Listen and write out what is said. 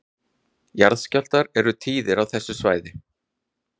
Jarðskjálftar eru tíðir á þessu svæði